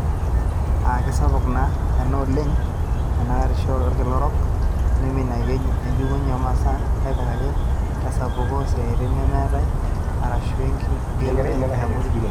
aa kisapuk ena alang enenkitorisio olkila orok, neiminiaki enjukunye o masaa natipikaki tesapuko oosiatin nemeetay arashu enkigerorer e abori.